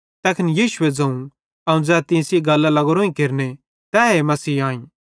तैखन यीशु ए ज़ोवं अवं ज़ै तीं सेइं गल्लां लगोरोइं केरने तैए मसीह आईं